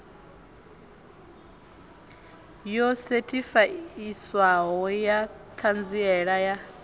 yo sethifaiwaho ya ṱhanziela ya